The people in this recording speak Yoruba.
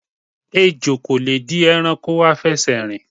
Ejò kò le di e̩ranko afè̩sè̩rìn.